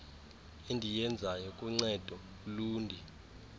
endiyenzayo kuncedo ulundi